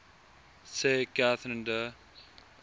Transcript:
sê katherine de